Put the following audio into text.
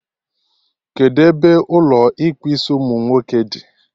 Kedụ ebe Ụlọ ịkpụ isiumunwoke dị?